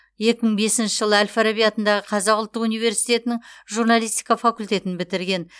екі мың бесінші жылы әл фараби атындағы қазақ ұлттық университетінің журналистика факультетін бітірген